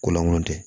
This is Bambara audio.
Kolankolon tɛ